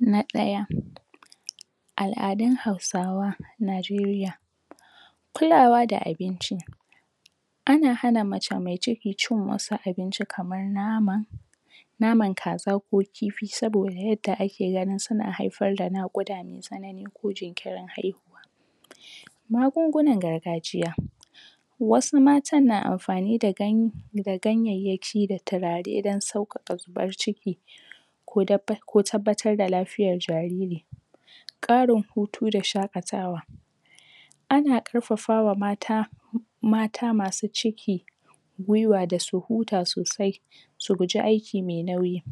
Na ɗaya, al'adun hausawa a Najeriya, kulawa da abinci Ana hana mace mai ciki cin wasu abinci kaman nama, naman kaza ko kifi sabida yadda ake ganin suna haifar da naƙuda mai tsanani ko jinkirin haihuwa. Magungunan gargajiya, wasu matan na amfani da ganye da ganyayyyaki da turare don sauƙaƙa zubar ciki ko tabbatar da lafiyar jariri. Ƙarin hutu da shaƙatawa ana ƙarƙafawa mata mata masu ciki gwiwa da su huta sosai, su guji aiki mai nauyi.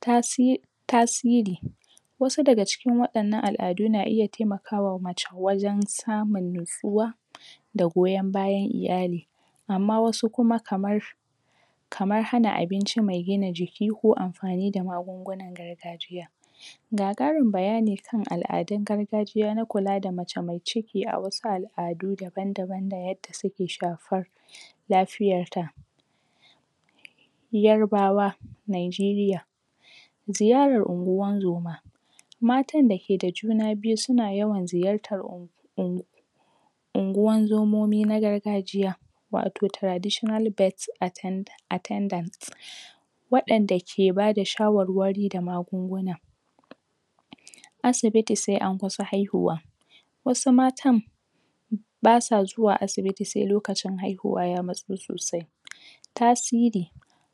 Tasi... tasiri, wasu daga cikin waɗannan al'adu na iya taimakawa mace wajen samun natsuwa da goyon bayan iyali amma wasu kuma daban kamar hana abinci mai gina jiki ko amfani da magungunan gargajiya. Ga ƙarin bayani kan al'adun gargajiya na kula da mace mai ciki a wasu al'adu daban daban da yadda suke shafar lafiayarta. Yaribawa Nanjiriya Ziyarar unguwan zoma, matan da ke da juna biyu suna yawan ziyartan un unguwan zomomi na gargajiya wato tarditional birth attendants, waɗanda ke ba da shawarwari da magunguna. asibioti sai an kusa haihuwa, wasu matan basu zuwa asibiti sai lokacin haihuwa ya matso sosai. Tasiri,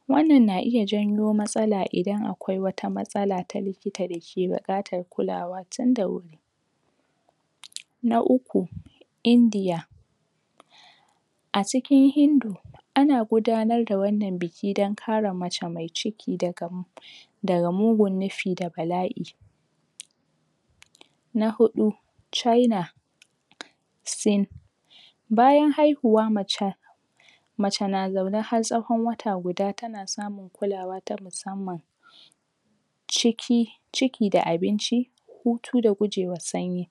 wannan na iya jawo matsala idan akwai matsala ta likita da ke buƙatar kulawa tunda wuri, Na uku, Indiya, a cikin Hindu, ana gudanar da wannan buki don kare mace mai ciki daga daga mutum nufi da bala'i, Na huɗu, China Sin, bayan haihuwar macen mace na zaune har tsawon wata guda tana samun kulawa ta musamman. ciki, ciki da abinci hutu da gujewar sanyi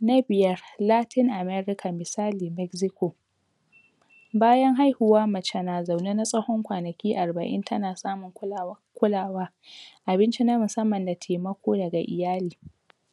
Na biyar, LAtin America misali Mexico bayan haihuwa mace na zaune na tsawon kwanaki arba'in tana samun kulawa kulawa, abinci na musamman da taimako daga iyali.